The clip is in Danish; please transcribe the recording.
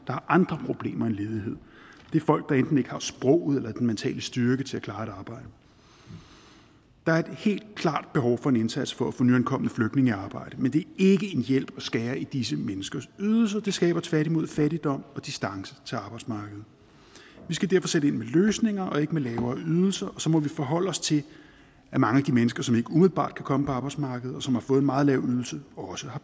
har andre problemer end ledighed det er folk der enten ikke har sproget eller den mentale styrke til at klare et arbejde der er et helt klart behov for en indsats for at få nyankomne flygtninge i arbejde men det er ikke en hjælp at skære i disse menneskers ydelser det skaber tværtimod fattigdom og distance til arbejdsmarkedet vi skal derfor sætte ind med løsninger og ikke med lavere ydelser og så må vi forholde os til at mange af de mennesker som ikke umiddelbart kan komme ind på arbejdsmarkedet og som har fået en meget lav ydelse også har